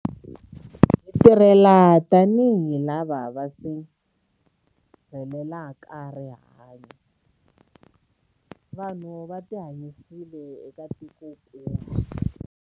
Hi tirhile tanihi lava va sirhelelaka rihanyu, vanhu na vutihanyisi eka tikokulu.